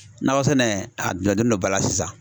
Nakɔ sɛnɛ a do ba la sisan.